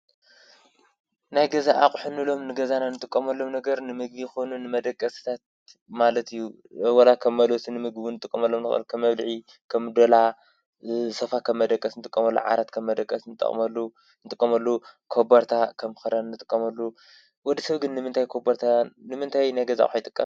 ናይ ገዛ ኣቑሑ እንብሎም ንገዛና ንጥቀመሎም ነገር ንምግቢ ይኹን ንመደቀስታት ማለት እዩ፡፡ ዋላ ከም መልወሲ ንምግቢ እውንንጥቀሙሉ ንኽእል፡ ከም መብልዒ፣ ከም ዶላ፣ ሶፋ ከም መደቀሲ ንጥቀመሉ፣ ዓራት ከም መደቀሲ ንጥቀመሉ፣ ኮበርታ ከም ክዳን ንጥቀመሉ፣ ወዲ ሰብ ግን ንምንታይ ናይ ገዛ ኣቑሑ ይጥቀም?